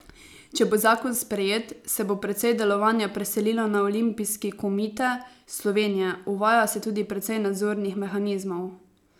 Če bo zakon sprejet, se bo precej delovanja preselilo na Olimpijski komite Slovenije, uvaja se tudi precej nadzornih mehanizmov.